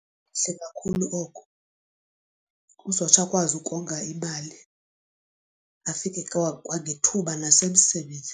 Kuhle kakhulu oko uzotsho akwazi ukonga imali afike kwangethuba nasemsebenzini.